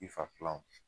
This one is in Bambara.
I fa pilan